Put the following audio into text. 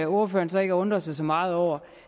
ordføreren så ikke at undre sig så meget over